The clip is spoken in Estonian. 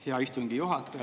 Hea istungi juhataja!